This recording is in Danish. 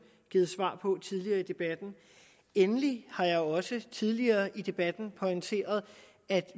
givet svar på tidligere i debatten endelig har jeg jo også tidligere i debatten pointeret at